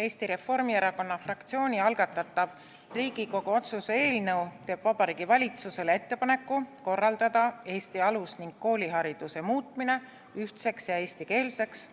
Eesti Reformierakonna fraktsiooni algatatav Riigikogu otsuse eelnõu teeb Vabariigi Valitsusele ettepaneku korraldada Eesti alus- ning koolihariduse muutmine ühtseks ja eestikeelseks,